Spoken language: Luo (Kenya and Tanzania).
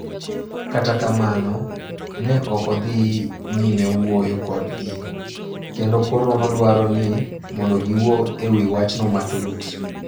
Kata kamano, ne ok odhi nyime wuoyo kodgi, kendo koro nodwaro ni mondo giwuo e wi wachno matut.